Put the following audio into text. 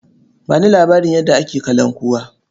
Ba ni labarin yadda ake kalankuwa.